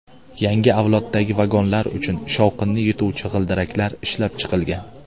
Yangi avloddagi vagonlar uchun shovqinni yutuvchi g‘ildiraklar ishlab chiqilgan.